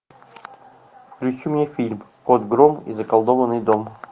включи мне фильм кот гром и заколдованный дом